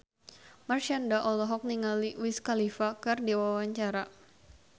Marshanda olohok ningali Wiz Khalifa keur diwawancara